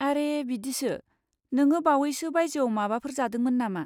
आरे बिदिसो, नोङो बावैसो बायजोआव माबाफोर जादोंमोन नामा?